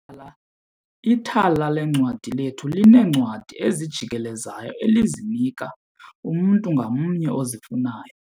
Ithala leencwadi lethu lineencwadi ezijikelezayo elizinika umntu ngamnye ozifunayo.